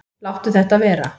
Láttu þetta vera!